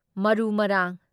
ꯃꯔꯨ ꯃꯔꯥꯡ